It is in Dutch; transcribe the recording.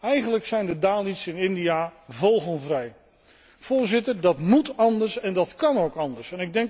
Eigenlijk zijn de dalits in India vogelvrij. Voorzitter, dat moet anders en dat kán ook anders.